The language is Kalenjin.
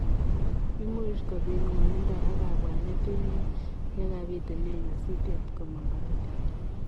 Imuuch kopiit ngwanindaa ak kabwaneet eng yekapitunee nyasutiet komaamang korotik.